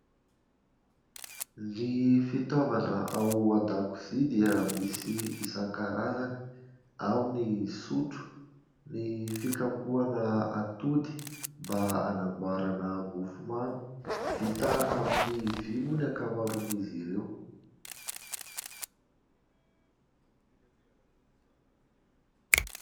Ny fitaovana ao an-dakozia dia misy isankarazany : ao ny sotro, ny fikapoana atody mba anamboarana mofomamy, vita amin'ny vy moa ny ankamaroan''izy ireo.